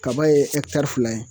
Kaba ye fila ye